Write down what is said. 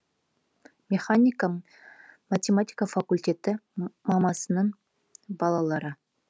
механика математика факультеті мамасының балалары